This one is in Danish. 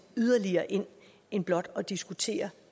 yderligere ind end blot at diskutere